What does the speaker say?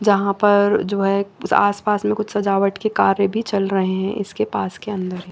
यहां पर जो है कुछ आसपास में कुछ सजावट के कार्य भी चल रहे हैं इसके पास के अंदर।